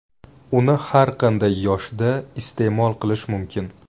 Uni har qanday yoshda iste’mol qilish mumkin.